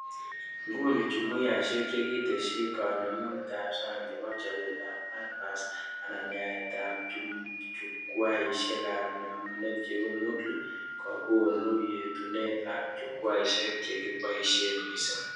Nguni, jumuiyaishek chekitesyi, kanemunetab sang cheu chabetab Canvas anan yateab Jukwaishekab nemunet cheu Moodlekokonu yetunet ak Jukwaishek chekiboishe mising